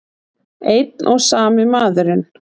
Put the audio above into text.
Einn og sami maðurinn!